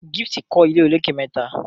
Gift kò ilé olokè mẹta.